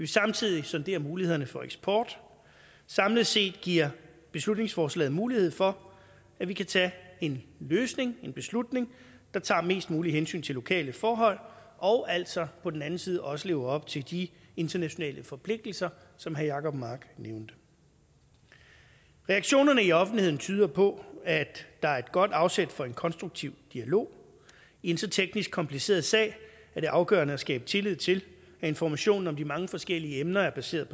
samtidig sondere mulighederne for eksport samlet set giver beslutningsforslaget mulighed for at vi kan tage en løsning en beslutning der tager mest muligt hensyn til lokale forhold og altså på den anden side også lever op til de internationale forpligtelser som herre jacob mark nævnte reaktionerne i offentligheden tyder på at der er et godt afsæt for en konstruktiv dialog i en så teknisk kompliceret sag er det afgørende at skabe tillid til at informationen om de mange forskellige emner er baseret på